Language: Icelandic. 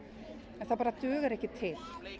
en það bara dugar ekki til